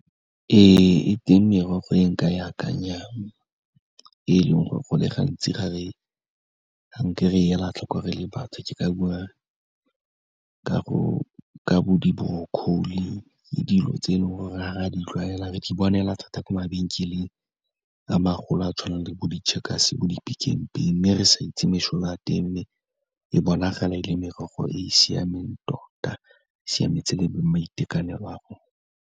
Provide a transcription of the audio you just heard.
Ee, e teng merogo e nka e akanyang, e leng gore go le gantsi ga nke re ela tlhoko re le batho, ke ka bua ka bo di-broccoli, ke dilo tse e leng gore ga rea di tlwaela, re di bona fela thata ko mabenkeleng a magolo a tshwanang le bo di-Checkers, bo di-PicknPay, mme re sa itse mesola ya teng. E bonagala e le merogo e e siameng tota, e siametse le maiteko a rona.